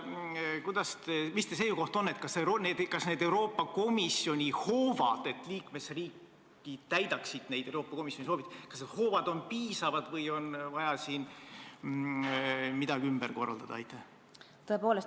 Mis teie seisukoht on: kas Euroopa Komisjoni käsutuses olevad hoovad, et liikmesriigid täidaksid komisjoni soovitusi, on piisavad või on vaja midagi ümber korraldada?